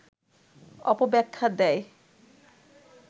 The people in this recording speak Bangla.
অপব্যাখ্যা দেয়